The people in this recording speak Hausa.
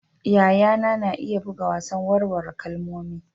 Yayana na iya buga wasan warware kalmomi.